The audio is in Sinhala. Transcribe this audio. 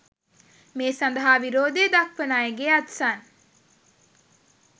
මේ සඳහා විරෝධය දක්‌වන අයගේ අත්සන්